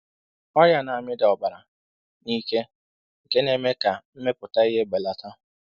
Ọrịa na-amịda ọbara na ike nke na-eme ka mmepụta ihe belata.